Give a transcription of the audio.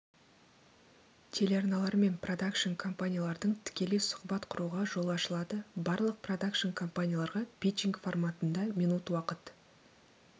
телеарналар мен продакшн компаниялардың тікелей сұхбат құруға жол ашылады барлық продакшн компанияларға пичинг форматында минут уақыт